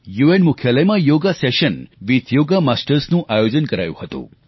UN મુખ્યાલયમાં yoga session with yoga માસ્ટર્સનું આયોજન કરાયું હતું